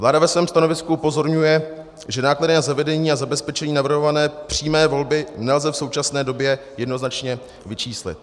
Vláda ve svém stanovisku upozorňuje, že náklady na zavedení a zabezpečení navrhované přímé volby nelze v současné době jednoznačně vyčíslit.